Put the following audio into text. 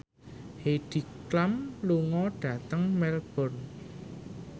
Heidi Klum lunga dhateng Melbourne